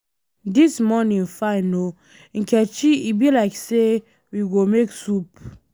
Dis morning fine oo, Nkechi e be like say we go make soup